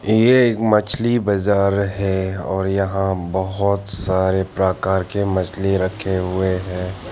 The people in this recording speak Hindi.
ये एक मछली बजार है और यहां बहोत सारे प्रकार के मछली रखे हुए हैं।